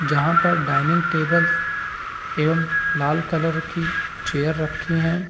जहाँ पे dining table एवं लाल कलर की चेयर रखी हैं।